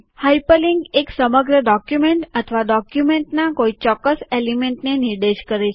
hyperlink એક સમગ્ર document અથવા ડોક્યુમેન્ટમાં કોઈ ચોક્કસ એલીમેન્ટ એટલે કે તત્વને નિર્દેશ કરે છે